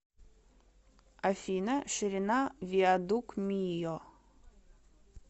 афина ширина виадук мийо